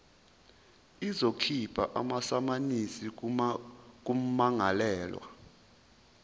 izokhipha amasamanisi kummangalelwa